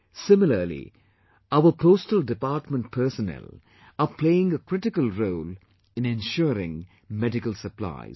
Similarly, our postal department personnel are playing a critical role in ensuring medical supplies